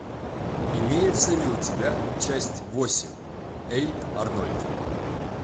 имеется ли у тебя часть восемь эй арнольд